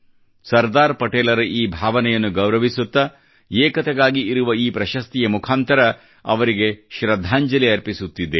ಸರ್ದಾರ್ ಪಟೇಲರ ಈ ಭಾವನೆಯನ್ನು ಗೌರವಿಸುತ್ತಾ ಏಕತೆಗಾಗಿ ಇರುವ ಈ ಪ್ರಶಸ್ತಿಯ ಮುಖಾಂತರ ಅವರಿಗೆ ಶ್ರದ್ಧಾಂಜಲಿ ಅರ್ಪಿಸುತ್ತೆದ್ದೇವೆ